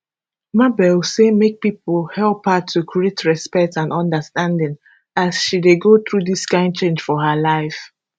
mabel say make pipo help her to create respect and understanding as she dey go through dis kain change for her life